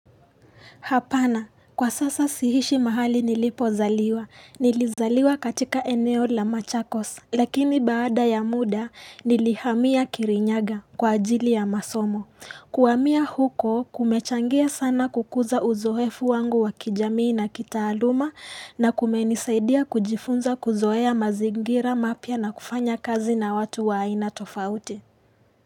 Hapana, kwa sasa sihishi mahali nilipo zaliwa. Nilizaliwa katika eneo la machakos. Lakini baada ya muda, nilihamia kirinyaga kwa ajili ya masomo. Kuwamia huko, kumechangia sana kukuza uzoefu wangu wa kijamii na kitaaluma na kumenisaidia kujifunza kuzoea mazingira mapya na kufanya kazi na watu wa aina tofauti.